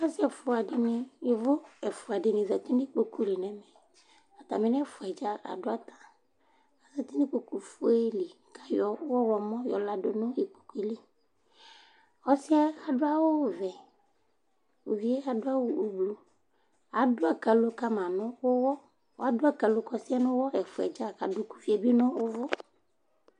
Asɩ ɛfʋa dɩnɩ, yovo ɛfʋa dɩnɩ zati n 'ikpoku li nɛmɛAtamɩ nʋɛfʋɛdza adʋata Azati n'ikpoku fue li kayɔ ɔɣlɔmɔ yɔ ladʋ nʋ ikpokue liƆsɩɛ adʋ awʋ vɛ, uvie adʋ awʋ ublu ;adʋ akalo ka ma nʋ ʋwɔ, adʋ akalo k 'ɔsɩɛ nʋ ʋwɔ ɛfʋɛdza ,kadʋ k ' uvi bɩ nʋ ʋvʋ